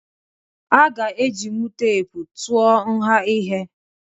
Aga ejinwu teepu tụọ nha ihe.